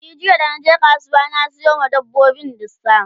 e jiya da naje kasuwa na Sayo wa dabbobin dusa